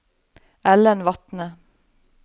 Ellen Vatne